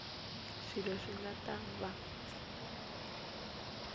swilo swi nga ta va